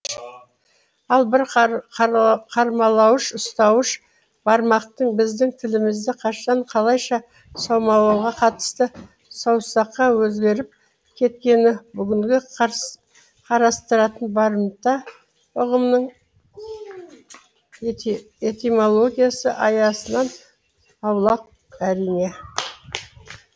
ал бір қармалауыш ұстауыш бармақтың біздің тілімізде қашан қалайша саумалауға қатысты саусаққа өзгеріп кеткені бүгінгі қарастыратын барымта ұғымының этимологиясы аясынан аулақ әрине